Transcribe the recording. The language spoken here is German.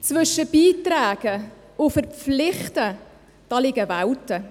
Zwischen «beitragen» und «verpflichten» liegen Welten.